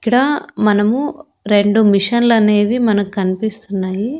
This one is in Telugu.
ఇక్కడ మనము రెండు మిషన్లు అనేవి మనకు కనిపిస్తున్నాయి.